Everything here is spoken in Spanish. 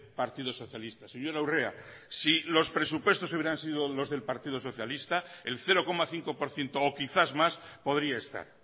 partido socialista señora urrea si los presupuestos hubieran sido los del partido socialista el cero coma cinco por ciento o quizás más podría estar